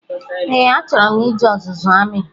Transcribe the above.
Ee, a chọrọ m ije ọzụzụ amị